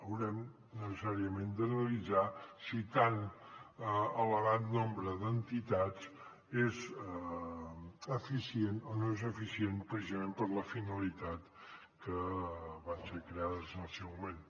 haurem necessàriament d’analitzar si tan elevat nombre d’entitats és eficient o no és eficient precisament per a la finalitat que van ser creades en el seu moment